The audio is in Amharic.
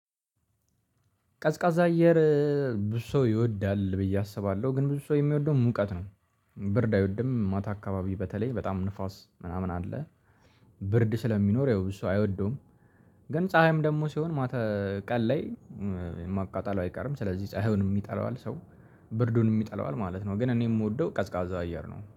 ቀዝቃዛ አየር ብዙ ሰው ይወዳል ብዬ አስባለሁ ግን ብዙ ሰው የሚወደው ሙቀት ነው። ብርድ አይወድም ማታ አካባቢ በተለይ በጣም ንፋስ ምናምን አለ። ብርድ ስለሚኖር ያው ብዙ ሰው አይወደውም። ግን ፀሀይም ደግሞ ሲሆን ማተ ቀን ላይ ማቃጠል አይቀርም ስለዚህ ፀሀዩን ይጠላዋል ሰው። ብርዱንም ይጠላዋል ማለት ነው ግን እኔ የምወደው ቀዝቃዛ አየር ነው